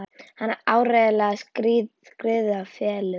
Hann hafði áreiðanlega skriðið í felur.